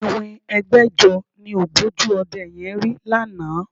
Iwin ẹgbẹ̀jọ ni ògbójú ọdẹ yẹn rí lánàá